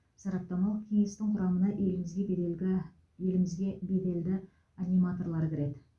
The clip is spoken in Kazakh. сараптамалық кеңестің құрамына елімізге берелгі елімізге беделді аниматорлар кіреді